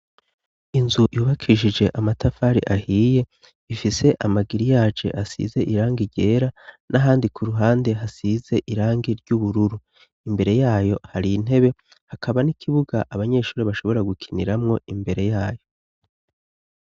Inzu yubakishije amatafari ahiye ifise amagiriyaje asize irangi ryera n'ahandi ku ruhande hasize irangi ry'ubururu imbere yayo hari intebe hakaba n'ikibuga abanyeshuri bashobora gukiniramwo imbere yayo.